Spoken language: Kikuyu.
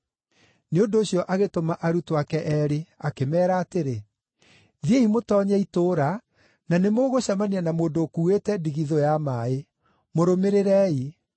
Nĩ ũndũ ũcio agĩtũma arutwo ake eerĩ akĩmeera atĩrĩ, “Thiĩi mũtoonye itũũra, na nĩ mũgũcemania na mũndũ ũkuuĩte ndigithũ ya maaĩ. Mũrũmĩrĩrei.